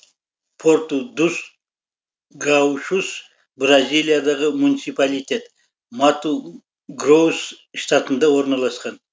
порту дус гаушус бразилиядағы муниципалитет мату грос штатында орналасқан